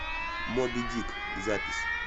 мобидик запись